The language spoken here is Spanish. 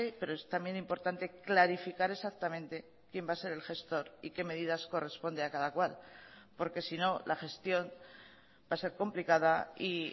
pero es también importante clarificar exactamente quién va a ser el gestor y qué medidas corresponde a cada cual porque sino la gestión va a ser complicada y